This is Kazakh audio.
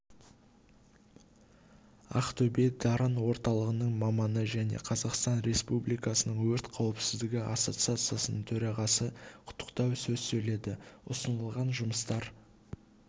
ақтөбе-дарын орталығының маманы және қазақстан республикасының өрт қауіпсіздігі ассоциациясының төрағасы құттықтау сөз сөйледі ұсынылған жұмыстар